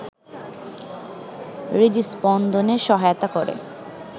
হৃদস্পন্দনে সহায়তা করে